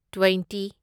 twenty